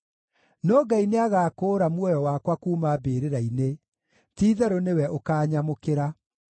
No Ngai nĩagakũũra muoyo wakwa kuuma mbĩrĩra-inĩ; ti-itherũ nĩwe ũkaanyamũkĩra.